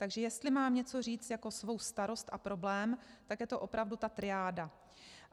Takže jestli mám něco říci jako svou starost a problém, tak je to opravdu ta triáda.